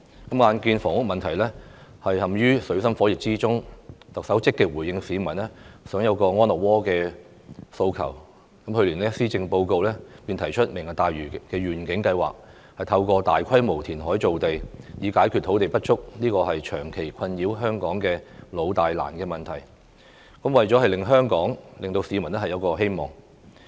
眼見房屋問題陷於水深火熱之中，特首積極回應市民想有個安樂窩的訴求，去年施政報告便提出"明日大嶼願景"，透過大規模填海造地解決土地不足這個長期困擾香港的老、大、難問題，以令香港、令市民有新希望。